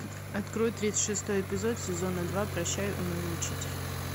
открой тридцать шестой эпизод сезона два прощай унылый учитель